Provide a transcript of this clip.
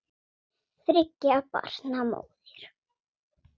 Þriggja barna móðir.